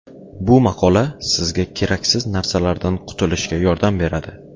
Bu maqola sizga keraksiz narsalardan qutulishga yordam beradi.